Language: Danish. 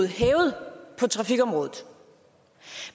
hævet på trafikområdet